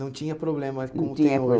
Não tinha problema, como tem hoje, não tinha